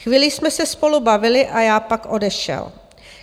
Chvíli jsme se spolu bavili a já pak odešel.